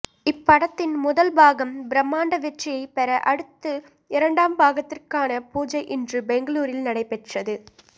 இப்படத்தின் முதல் பாகம் பிரமாண்ட வெற்றியை பெற அடுத்து இரண்டாம் பாகத்திற்கான பூஜை இன்று பெங்களூரில் நடைப்பெற்றது